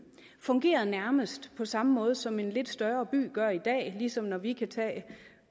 fungerede nærmest på samme måde som en lidt større by gør i dag ligesom når vi kan tage